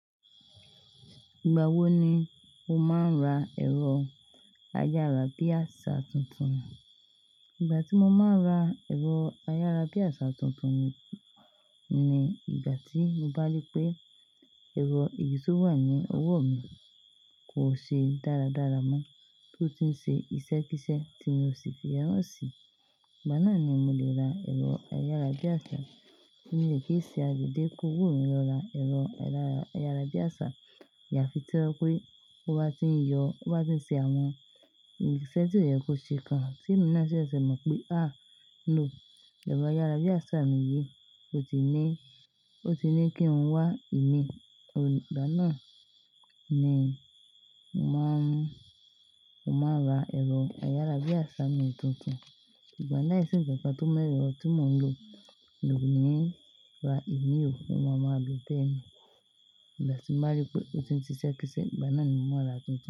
Ìgbà wo ni o máa ń ra ẹ̀rọ ayárabíàṣá tuntun? Ìgbà tí mo máa ń ra ẹ̀rọ ayárabíàṣá tuntun ni ìgbà tí mo bá rí pé ẹ̀rọ eyí to wà ní ọwọ́ mi kò ṣe dáradára mọ́, tó ti ń ṣe ìṣẹ́ kíṣẹ́ tí mo ti fẹ́ rán sí. Ìgbà náà ni mo lè ra ẹ̀rọ ayárabíàṣá. Mo lè kí ì ṣe adèdé kó wò mí lọ ra ẹ̀rọ ayárabíàṣá. Ayàfi tí ẹ kó pé ó bá ti ń yọ, ó bá ti ń ṣe àwọn ìṣe tí o ye kò ṣe kan tí mò ń ṣẹ̀ṣẹ̀ mọ̀ pé, "à, no, ẹ̀rọ ayárabíàṣá mi yìí ó ti ní, ó ti ní kí ohun wá ìmí." Ìgbà náà ni mo máa ń, mo máa ra ẹ̀rọ ayárabíàṣá mi tuntun. Ìgbà náà sì ń jẹ́ nǹkan tó mu ero ti mò ń lo mi o ní ra ìmíì o, mo máa mọ bẹ́ẹ̀ mi. Ìgbà tí mo bá rí pé ó ti ń ṣe iṣẹ́ kíṣẹ́, ìgbà náà ni mò máa ra tuntun.